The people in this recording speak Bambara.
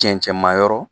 Cɛncɛnmayɔrɔ